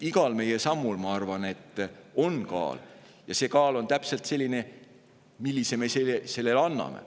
Igal meie sammul, ma arvan, on kaal ja see kaal on täpselt selline, millise kaalu me sellele anname.